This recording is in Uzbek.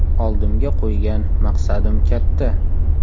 Oldimga qo‘ygan maqsadim katta.